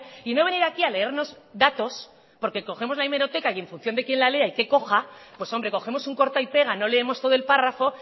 y no venir aquí a leernos datos porque cogemos la hemeroteca y en función de quién la lea y qué coja pues hombre cogemos un corta y pega no leemos todo el párrafo